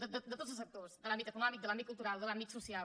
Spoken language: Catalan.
de tots els sectors de l’àmbit econòmic de l’àmbit cultural de l’àmbit social